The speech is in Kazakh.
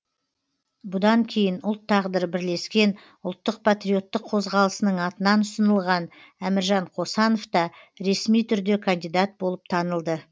бұдан кейін ұлт тағдыры бірлескен ұлттық патриоттық қозғалысының атынан ұсынылған әміржан қосановта ресми түрде кандидат болып танылды